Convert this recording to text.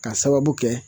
Ka sababu kɛ